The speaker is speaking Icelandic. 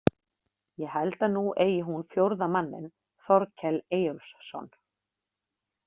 Ég held að nú eigi hún fjórða manninn, Þorkel Eyjólfsson.